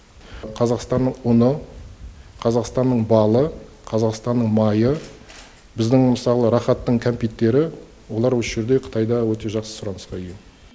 қазақстанның ұны қазақстанның балы қазақстанның майы біздің мысалы рахаттың кәмпиттері олар осы жерде қытайда өте жақсы сұранысқа ие